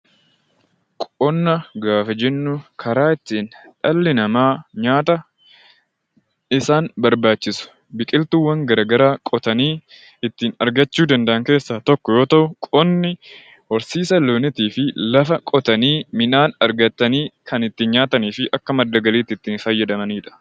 Qonna gaafa jennu, karaa ittiin dhalli namaa nyaata isaan barbaachisu biqiltuuwwan garaagaraa oomishanii ittiin argachuu danda'an keessa tokko yoo ta'u, qonni horsiisa loonii fi midhaan qotanii argatanii kan ittiin nyaatanii fi akka madda galiitti ittiin fayyadamaniidha.